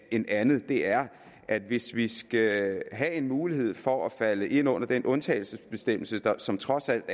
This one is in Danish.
end andet er at hvis vi skal have en mulighed for at falde ind under den undtagelsesbestemmelse som trods alt